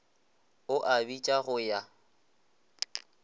o a bitša go ya